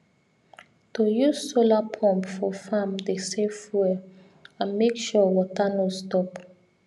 to use solar pump for farm dey save fuel and make sure water no stop